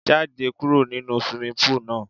Jáde kúrò nínu swimming pool náà!